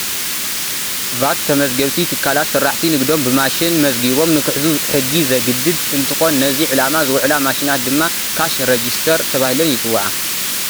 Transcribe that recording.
ቫት ተመዝገብቲ ትካላት ስራሕቲ ንግዶም ብማሽን መዝጊቦም ንክሕዙ ሕጊ ዘግድድ እንትኾን ነዚ ዕላማ ዝውዕላ ማሽናት ድማ ካሽ ረጂስተር ተባሂለን ይፅውዓ፡፡